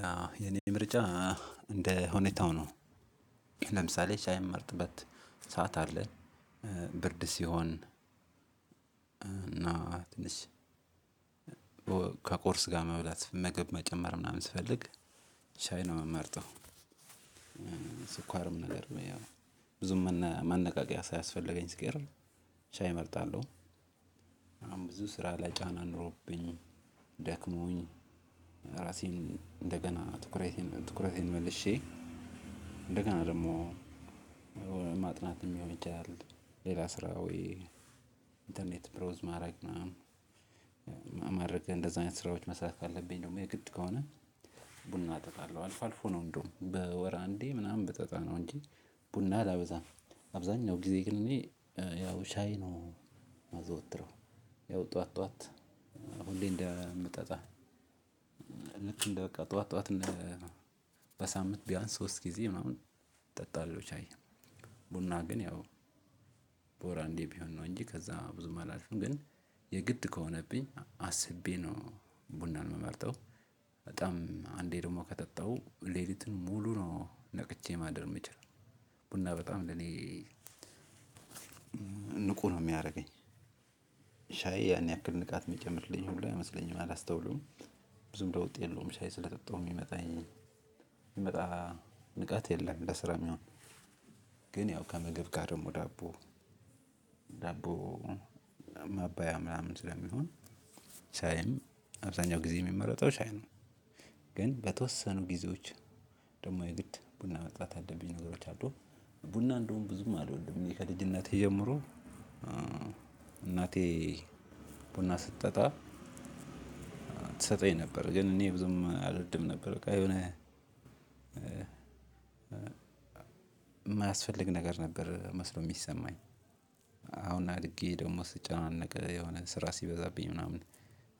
ያ የኔ ምርጫ እንደ ሁኔታው ነው። ለምሳሌ ሻይ የምመርጥበት ሰዓት አለ። ብርድ ሲሆን። እና ትንሽ ከቁርስ ጋር መብላት ምግብ መጨመር ምናምን ስፈልግ ሻይ ነው የምመርጠው። ስኳርም ነገር ብዬ ብዙም መነቃቂያ ሳያስፈልገኝ ሲቀር ሻይ እመርጣለሁ። አሁን ብዙ ስራ ላይ ጫና ኖሮብኝ ደክሞኝ ራሴን እንደገና ትኩረቴን ትኩረቴን መልሼ እንደገና ደግሞ። ማጥናትም ሊሆን ይችላል ሌላ ስራ ወይ ኢንተርኔት ብሮዝ ማድረግ ምናምን እንደዚህ አይነት ስራዎች መስራት ካለብኝ ደግሞ የግድ ከሆነ። ቡና እጠጣለሁ አልፎ አልፎ ነው እንደውም በወር አንዴ ምናምን ብጠጣ ነው እንጂ ቡና አላበዛም። አብዛኛው ጊዜ ግን እኔ ያው ሻይ ነው የማዘወትረው። ያው ጠዋት ጠዋት ሁሌ እንደምጠጣ ልክ እንደ በቃ ጠዋት ጠዋት በሳምንት ቢያንስ ሶስት ጊዜ ምናምን እጠጣለሁ። ሻይ ቡና ግን ያው በወር አንዴ ቢሆን ነው እንጂ ከዛ ብዙም አላልፍም ግን። የግድ ከሆነብኝ አስቤ ነው ቡናን የምመርጠው። በጣም አንዴ ደግሞ ከጠጣሁ ሌሊቱን ሙሉ ነው ነቅቼ ማደር የምችለው ቡና በጣም ለኔ ንቁ ነው የሚያደርገኝ። ሻይ ያን ያክል ንቃት የሚጨምርልኝ ሁላ አይመስለኝም አላስተውለውም። ብዙም ለውጥ የለውም ሻይ ስለጠጣሁ የሚመጣኝ የሚመጣ ንቃት የለም ለስራም ሚሆን። ግን ያው ከምግብ ጋር ደግሞ ዳቦ ዳቦ ማባያ ምናምን ስለሚሆን ሻይም አብዛኛው ጊዜ የሚመረጠው ሻይ ነው። ግን በተወሰኑ ጊዜዎች ደግሞ የግድ ቡና መጠጣት ያለብኝ ነገሮች አሉ። ቡና እንደውም ብዙም አልወድም እኔ ከልጅነቴ ጀምሮ። እናቴ ቡና ስትጠጣ ትሰጠኝ ነበር ግን እኔ ብዙም አልወድም ነበር በቃ የሆነ የማያስፈልግ ነገር ነበር መስሎ የሚሰማኝ። አሁን አድጌ ደግሞ ስጨናነቅ የሆነ ስራ ሲበዛብኝ ምናምን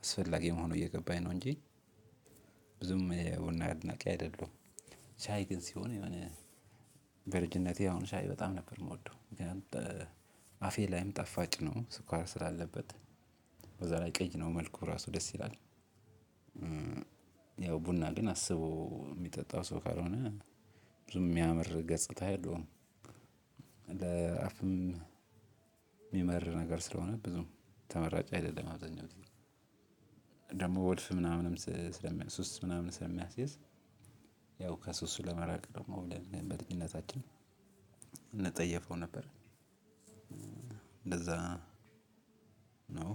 አስፈላጊ መሆኑ እየገባኝ ነው እንጂ። ብዙም የቡና አድናቂ አይደለሁም። ሻይ ግን ሲሆን የሆነ በልጅነቴ አሁን ሻይ በጣም ነበር የምወደው ምክንያቱም አፌ ላይም ጣፋጭ ነው ስኳር ስላለበት። በዛ ላይ ቀይ ነው መልኩ ራሱ ደስ ይላል። ያው ቡና ግን አስቦ የሚጠጣው ሰው ካልሆነ ብዙም የሚያምር ገጽታ የለውም። ለአፍም የሚመር ነገር ስለሆነ ብዙም ተመራጭ አይደለም። አብዛኛውን ጊዜ ወልፍ ምናምንም ሱስ ምናምን ስለሚያስይዝ። ያው ከሱስ ለመራቅ ደግሞ ብለን በልጅነታችን እንጠየፈው ነበር። እንደዛ ነው